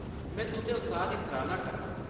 में तुंʼदे उत्साह्‌‌ दी सराह्‌‌ना करनां।